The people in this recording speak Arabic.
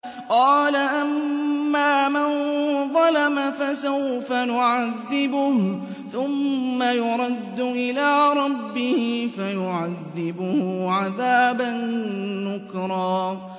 قَالَ أَمَّا مَن ظَلَمَ فَسَوْفَ نُعَذِّبُهُ ثُمَّ يُرَدُّ إِلَىٰ رَبِّهِ فَيُعَذِّبُهُ عَذَابًا نُّكْرًا